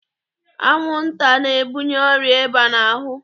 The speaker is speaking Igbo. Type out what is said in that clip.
Anwụnta na-ebunye ọrịa ịba n'ahụ.